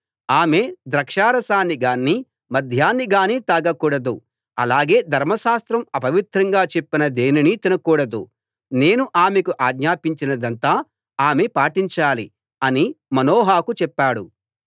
ఆమె ద్రాక్షారసాన్ని గానీ మద్యాన్ని గానీ తాగకూడదు అలాగే ధర్మశాస్త్రం అపవిత్రంగా చెప్పిన దేనినీ తినకూడదు నేను ఆమెకు ఆజ్ఞాపించినదంతా ఆమె పాటించాలి అని మనోహకు చెప్పాడు